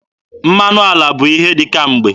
Mmanụ ala bụ ihe dị kemgbe.